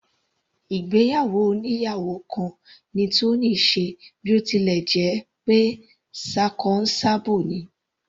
Ìgbéyàwó oníyàwò kan ni Tony ṣe bí ó tilẹ̀ jẹ́ pé ṣakọ s'abo ni.